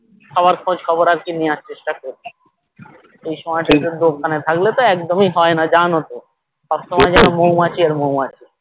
সবার খোঁজ খবর আর কি নেওয়ার চেষ্টা করি এই সময়টা তে দোকানে থাকলে তো একদমই হয় না জানো তো সবসময় যেন মৌমাছি আর মৌমাছি